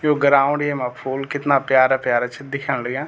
यु ground येमा फूल कितना प्यारा प्यारा छि दिखेंण लग्याँ।